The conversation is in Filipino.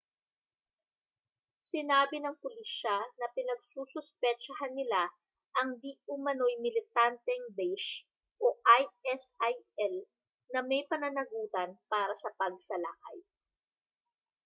sinabi ng pulisya na pinagsususpetsahan nila ang di-umano'y militanteng daesh isil na may pananagutan para sa pagsalakay